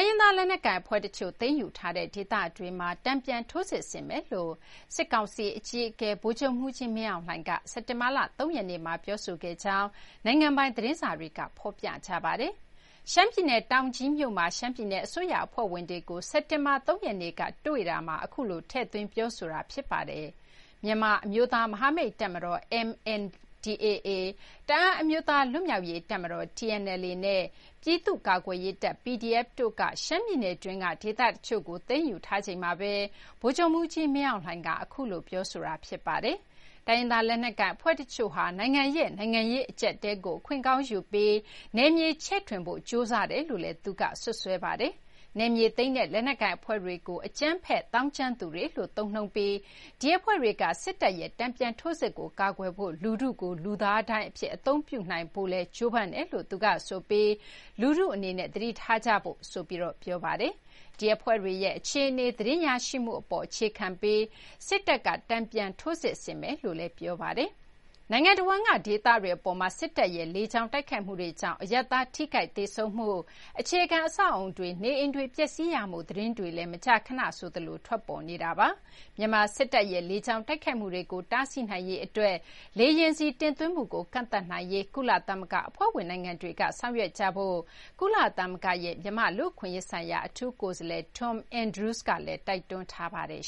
ရင်းသား လက်နက်ကိုင်အဖွဲ့တချို့ သိမ်းယူထားတဲ့ဒေသတွေမှာ တန်ပြန်ထိုးစစ်ဆင်မယ်လို့ စစ်ကောင်စီအကြီးအကဲ ဗိုလ်ချုပ်မှူးကြီး မင်းအောင်လှိုင်က စက်တင်ဘာလ ၃ ရက်နေ့မှာပြောခဲ့ကြောင်း နိုင်ငံပိုင်သတင်းစာတွေကဖော်ပြကြပါတယ်။ ရှမ်းပြည်နယ် တောင်ကြီးမြို့မှာ ရှမ်းပြည်နယ်အစိုးရအဖွဲ့ဝင်တွေကို စက်တင်ဘာလ ၃ ရက်နေ့ကတွေ့တာမှာ အခုလို ထည့်သွင်း ပြောဆိုတာ ဖြစ်ပါတယ်။ မြန်မာအမျိုးသား မဟာမိတ်တပ်မတော် (MDAA) ၊ တအန်းအမျိုးသား လွတ်မြောက်ရေးတပ်မတော် (TNLA) နဲ့ ပြည်သူ့ကာကွယ်ရေးတပ် PDF တို့က ရှမ်းပြည်နယ်တွင်းက ဒေသတချို့ကို သိမ်းယူထားချိန်မှာပဲ ဗိုလ်ချုပ်မှူးကြီးမင်းအောင်လှိုင်က အခုလို ပြောဆိုခဲ့တာပါ။ တိုင်းရင်းသား လက်နက်ကိုင်အဖွဲ့တချို့ဟာ နိုင်ငံရဲ့ နိုင်ငံရေးအကြပ်အတည်းကို အခွင့်ကောင်းယူပြီး နယ်မြေချဲ့ထွင်ဖို့ ကြိုးစားလာတယ်လို့လည်း သူက စွပ်စွဲပါတယ်။ နယ်မြေသိမ်းတဲ့လက်နက်ကိုင်အဖွဲ့တွေကို အကြမ်းဖက်သောင်းကျန်းသူတွေလို့ သုံးနှုန်းပြီး ဒီအဖွဲ့တွေက စစ်တပ်ရဲ့ တန်ပြန်ထိုးစစ်ကိုကာကွယ်ဖို့ လူထုကို လူသားဒိုင်းအဖြစ် အသုံးပြုနိုင်ဖို့လည်း ကြိုးပမ်းနေတယ်လို့ သူကဆိုပြီး လူထု အနေနဲ့ သတိထားကြဖို့ ဆိုပြီး ပြောပါတယ်။ ဒီ အဖွဲ့တွေရဲ့ အခြေအနေ သတင်းရရှိမှုအပေါ် အခြေခံပြီး စစ်တပ်က တန်ပြန်ထိုးစစ်ဆင်မယ်လို့လည်း ပြောပါတယ်။ နိုင်ငံတဝန်းက ဒေသတွေအပေါ်မှာ စစ်တပ်ရဲ့ လေကြောင်းတိုက်ခိုက်မှုတွေကြောင့် အရပ်သားထိခိုက်သေဆုံးမှု၊အခြေခံ အဆောက်အအုံတွေ နေအိမ်တွေပျက်စီးရမှု သတင်းတွေလည်း မကြာခဏ ဆိုသလို ထွက်ပေါ်နေတာပါ။မြန်မာစစ်တပ်ရဲ့ လေကြောင်းတိုက်ခိုက်မှုတွေကို တားဆီးနိုင်ရေးအတွက် လေယာဉ်ဆီတင်သွင်းမှုကိုကန့်သတ်နိုင်ရေးကုလသမဂ္ဂအဖွဲ့ဝင်နိုင်ငံတွေကဆောင်ရွက်ကြဖို့ ကုလသမဂ္ဂရဲ့ မြန်မာ့ လူ့အခွင့်အရေးဆိုင်ရာ အထူးကိုယ်စားလှယ်Tom Andrews ကလည်း တိုက်တွန်းထားပါတယ်